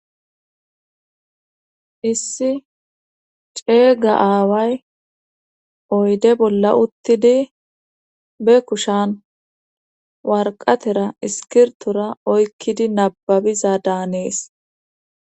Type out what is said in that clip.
Issi ceega aaway oyde bolla uttidi be kushan warqatera iskirtora oykkidi nababiza daanees.